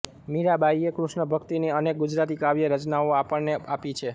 મીરાંબાઈએ કૃષ્ણભક્તિની અનેક ગુજરાતી કાવ્ય રચનાઓ આપણને આપી છે